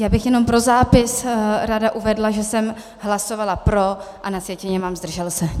Já bych jenom pro zápis ráda uvedla, že jsem hlasovala pro, a na sjetině mám zdržel se.